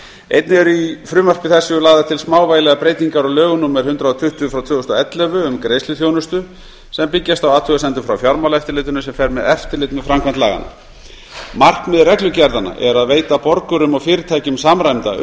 einnig eru í frumvarpi þessu lagðar til smávægilegar breytingar á lögum númer hundrað og tuttugu tvö þúsund og ellefu um greiðsluþjónustu sem byggjast á athugasemdum frá fjármálaeftirlitinu sem fer með eftirlit með framkvæmd laganna markmið reglugerðanna er að veita borgurum og fyrirtækjum samræmda